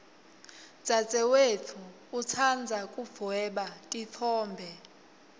dzadzewetfu utsandza kudvweba titfombe